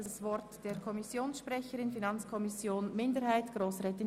Zuerst hat die Kommissionssprecherin für die FiKo-Minderheit das Wort.